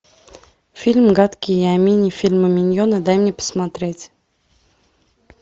фильм гадкий я мини фильмы миньоны дай мне посмотреть